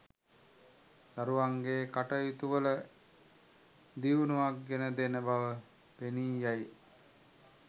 දරුවන්ගේ කටයුතුවල දියුණුවක් ගෙන දෙන බව පෙනී යයි.